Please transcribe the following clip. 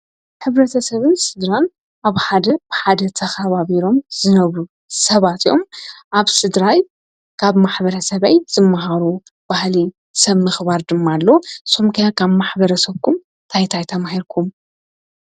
ሕብረተሰብን ስድራን ኣብ ሓደ ብሓደ ተከባቢሮም ዝነብሩ ሰባት እዮም። ኣብ ስድራይ ካብ ማሕበረሰበይ ዝምሃሮ ባህሊ ሰብ ምክባር ድማ ኣሎ። ንስኩም ከ ካብ ማሕበረሰብኩም እንታይ እንታይ ተማሂርኩም?